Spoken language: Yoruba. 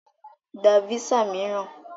Gba físà mìíràn!